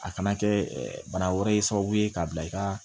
A kana kɛ bana wɛrɛ ye sababu ye k'a bila i ka